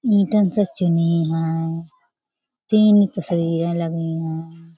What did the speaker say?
Eaten से चुनी हैं। तीन तस्वीरें लगीं हैं।